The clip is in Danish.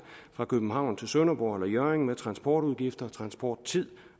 fra københavn til sønderborg eller hjørring med transportudgifter og transporttid